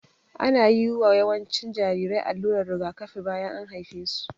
Ana yiwa yawancin jarirai allurar rigakafi bayan an haife su